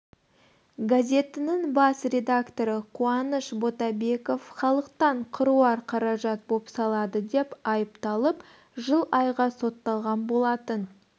газетінің бас редакторы қуаныш ботабеков халықтан қыруар қаражат бопсалады деп айыпталып жыл айға сотталған болатын